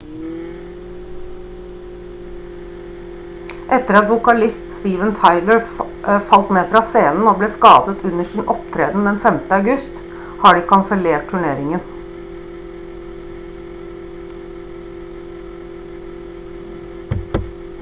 etter at vokalist steven tyler falt ned fra scenen og ble skadet under sin opptreden den 5. august har de kansellert turneringen